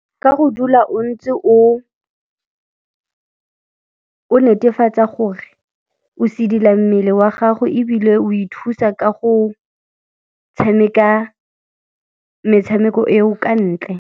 Ka go dula o ntse o netefatsa gore o sedila mmele wa gago ebile o ithusa ka go tshameka metshameko eo ka ntle.